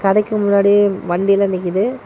கடைக்கு முன்னாடி வண்டி லா நிக்குது.